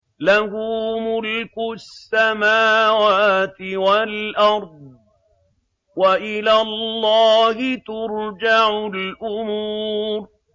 لَّهُ مُلْكُ السَّمَاوَاتِ وَالْأَرْضِ ۚ وَإِلَى اللَّهِ تُرْجَعُ الْأُمُورُ